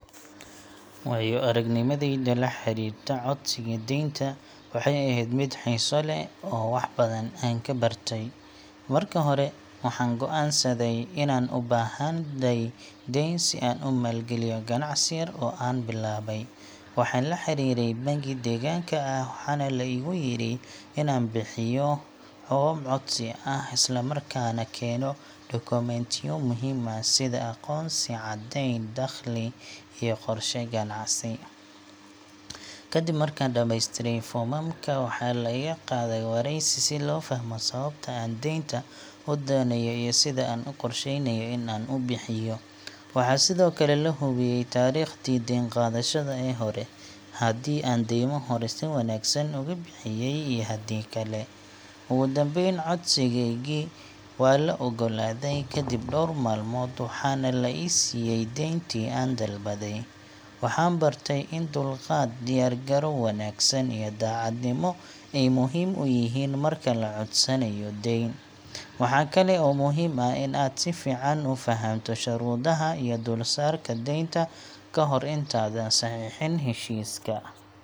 Waayo-aragnimadayda la xiriirta codsiga deynta waxay ahayd mid xiiso leh oo wax badan aan ka bartay. Marka hore, waxaan go’aansaday inaan u baahnahay deyn si aan u maalgeliyo ganacsi yar oo aan bilaabay. Waxaan la xiriiray bangi deegaanka ah, waxaana la igu yiri inaan buuxiyo foom codsi ah, isla markaana keeno dukumentiyo muhim ah sida aqoonsi, caddeyn dakhli, iyo qorshe ganacsi. Kadib markaan dhameystiray foomamka, waxaa la iga qaaday wareysi si loo fahmo sababta aan deynta u doonayo iyo sida aan u qorsheynayo in aan u bixiyo. Waxaa sidoo kale la hubiyay taariikhdii deyn qaadashada ee hore haddii aan deymo hore si wanaagsan uga bixiyay iyo haddii kale. Ugu dambeyn, codsigeygii waa la oggolaaday kadib dhowr maalmood, waxaana la i siiyay deyntii aan dalbaday. Waxaan bartay in dulqaad, diyaar garow wanaagsan, iyo daacadnimo ay muhiim yihiin marka la codsanayo deyn. Waxaa kale oo muhiim ah in aad si fiican u fahamto shuruudaha iyo dulsaarka deynta ka hor intaadan saxiixin heshiiska.